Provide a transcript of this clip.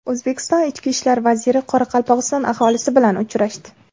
O‘zbekiston ichki ishlar vaziri Qoraqalpog‘iston aholisi bilan uchrashdi.